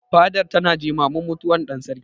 Fadar tana jimamin mutuwar ɗan Sarkin.